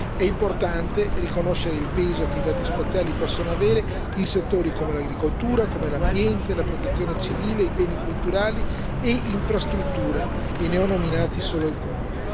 È importante riconoscere il peso che i dati spaziali possono avere in settori come l'agricoltura, l'ambiente, la protezione civile, i beni culturali e le infrastrutture, e ne ho nominati solo alcuni.